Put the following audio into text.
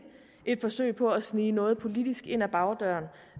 et forsøg på at snige noget politisk ind ad bagdøren